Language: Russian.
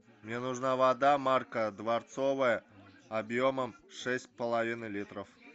мне нужна вода марка дворцовая объемом шесть с половиной литров